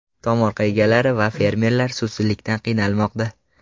Tomorqa egalari va fermer suvsizlikdan qiynalmoqda.